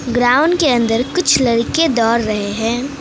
Ground के अंदर कुछ लड़के दौड़ रहे हैं।